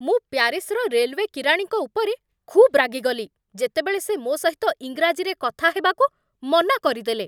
ମୁଁ ପ୍ୟାରିସ୍‌ର ରେଲୱେ କିରାଣୀଙ୍କ ଉପରେ ଖୁବ୍ ରାଗିଗଲି ଯେତେବେଳେ ସେ ମୋ ସହିତ ଇଂରାଜୀରେ କଥା ହେବାକୁ ମନା କରିଦେଲେ।